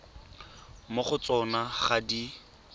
mo go tsona ga di